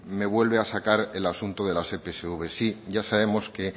me vuelve a sacar el asunto de las epsv sí ya sabemos que